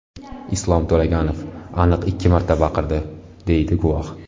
Islom To‘laganov aniq ikki marta baqirdi”, deydi guvoh.